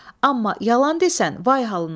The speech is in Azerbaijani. Amma yalan desən, vay halına.